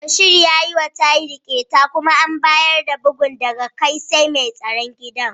Bashir ya yiwa Tahir ƙyeta kuma an bayar da bugun daga kai sai mai tsaron gida.